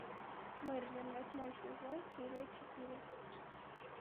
мерлин восьмой сезон серия четыре